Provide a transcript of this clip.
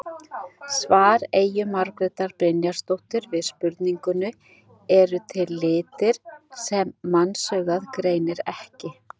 Svar Eyju Margrétar Brynjarsdóttur við spurningunni Eru til litir sem mannsaugað greinir ekki?